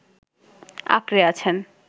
আঁকড়ে আছেন